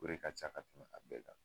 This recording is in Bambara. O de ca ka tɛmɛ a bɛɛ kan